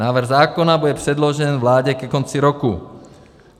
Návrh zákona bude předložen vládě ke konci roku.